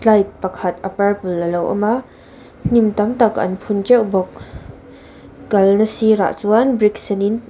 pakhat a purple alo awm a hnim tam tak an phun teuh bawk kalna sirah ah chuan brick sen in.